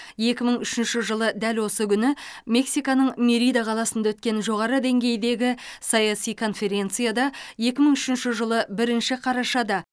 екі мың үшінші жылы дәл осы күні мексиканың мерида қаласында өткен жоғары деңгейдегі саяси конференцияда екі мың үшінші жылы бірінші қарашада